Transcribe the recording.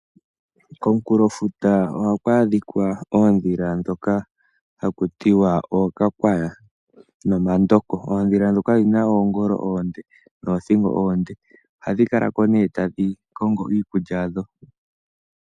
Komukulofuta oha ku aadhika oondhila ndhoka hakutiwa okakwaya nomandoko , ondhila ndhoka odhina oongolo oonde noothingo oonde ohadhi kala ko ne tadhi kongo iikulya yadho.